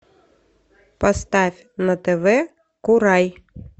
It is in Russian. поставь на тв курай